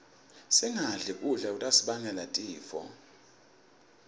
singadli kudla lokutasibangela tifo